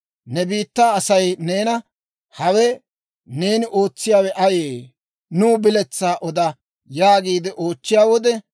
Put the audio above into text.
«Ne biittaa Asay neena, ‹Hawe neeni ootsiyaawe ayee? Nuw biletsaa oda› yaagiide oochchiyaa wode,